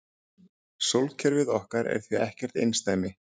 Sólkerfið okkar er því ekkert einsdæmi.